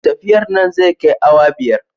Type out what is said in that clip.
Tafiyar nan zai kai awa biyar